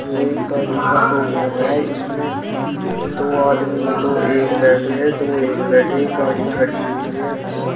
ये एक गाड़ी का शोरूम है। इसमें दो आदमी दो एक बैठे हैं दो एक बैठे हैं एक गाड़ी खड़ी हुई है।